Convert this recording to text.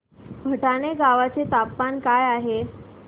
भटाणे गावाचे तापमान काय आहे